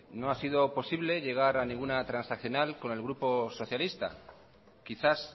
no ha sido posible llegar a ninguna transaccional con el grupo socialista quizás